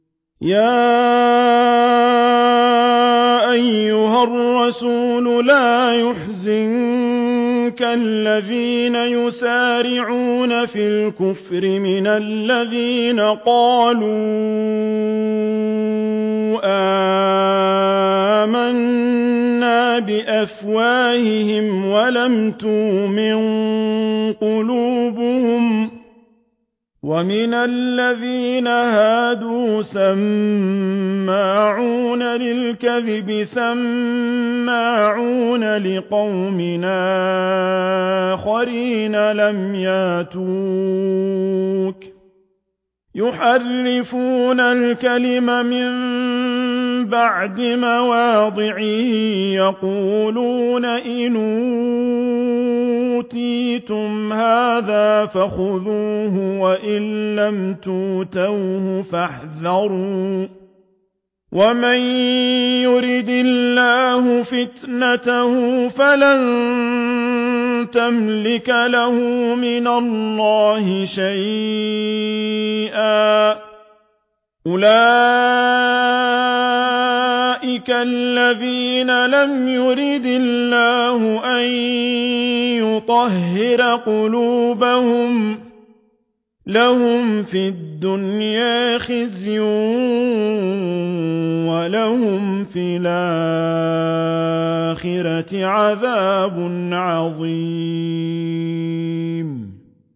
۞ يَا أَيُّهَا الرَّسُولُ لَا يَحْزُنكَ الَّذِينَ يُسَارِعُونَ فِي الْكُفْرِ مِنَ الَّذِينَ قَالُوا آمَنَّا بِأَفْوَاهِهِمْ وَلَمْ تُؤْمِن قُلُوبُهُمْ ۛ وَمِنَ الَّذِينَ هَادُوا ۛ سَمَّاعُونَ لِلْكَذِبِ سَمَّاعُونَ لِقَوْمٍ آخَرِينَ لَمْ يَأْتُوكَ ۖ يُحَرِّفُونَ الْكَلِمَ مِن بَعْدِ مَوَاضِعِهِ ۖ يَقُولُونَ إِنْ أُوتِيتُمْ هَٰذَا فَخُذُوهُ وَإِن لَّمْ تُؤْتَوْهُ فَاحْذَرُوا ۚ وَمَن يُرِدِ اللَّهُ فِتْنَتَهُ فَلَن تَمْلِكَ لَهُ مِنَ اللَّهِ شَيْئًا ۚ أُولَٰئِكَ الَّذِينَ لَمْ يُرِدِ اللَّهُ أَن يُطَهِّرَ قُلُوبَهُمْ ۚ لَهُمْ فِي الدُّنْيَا خِزْيٌ ۖ وَلَهُمْ فِي الْآخِرَةِ عَذَابٌ عَظِيمٌ